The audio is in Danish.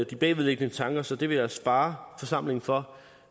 de bagvedliggende tanker så det vil jeg spare forsamlingen for